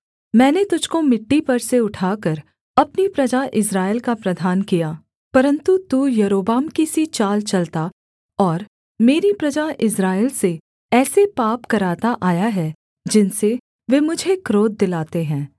मैंने तुझको मिट्टी पर से उठाकर अपनी प्रजा इस्राएल का प्रधान किया परन्तु तू यारोबाम की सी चाल चलता और मेरी प्रजा इस्राएल से ऐसे पाप कराता आया है जिनसे वे मुझे क्रोध दिलाते हैं